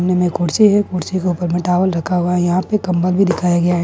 Room में कुर्सी है कुर्सी पर टावल दिखाया गया है।